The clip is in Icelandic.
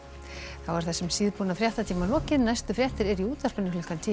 þá er þessum síðbúna fréttatíma lokið næstu fréttir eru í útvarpinu klukkan tíu